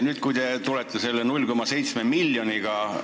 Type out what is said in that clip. Nüüd te tulete selle 0,7 miljoniga.